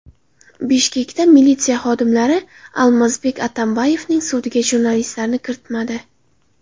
Bishkekda militsiya xodimlari Almazbek Atambayevning sudiga jurnalistlarni kiritmadi .